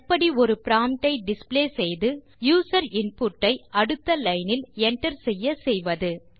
எப்படி ஒரு ப்ராம்ப்ட் ஐ டிஸ்ப்ளே செய்து யூசர் இன்புட் ஐ அடுத்த லைன் இல் enter செய்ய செய்வது